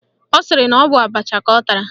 Ọ sịrị na ọ bụ abacha ka ọ tara